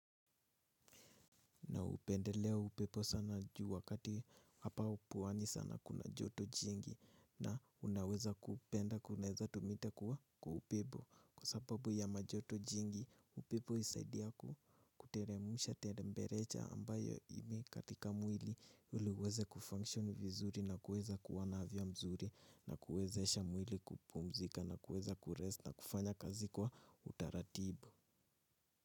Upendelea upepo sana juu wakati hapa pwani sana kuna joto jingi na unaweza kupenda kunaweza tumita kuwa kwa upepo. Kwa sababu ya majoto jingi upepo husaidia kuteremusha teremberecha ambayo ime katika mwili ili uweze kufunction vizuri na kuweza kuwa na afya mzuri na kuwezesha mwili kupumzika na kuweza kurest na kufanya kazi kwa utaratibu.